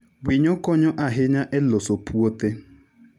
Winyo konyo ahinya e loso puothe.